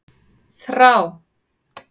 Þrá